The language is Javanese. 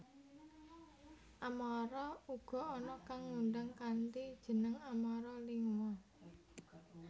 Amara uga ana kang ngundang kanthi jeneng Amara Lingua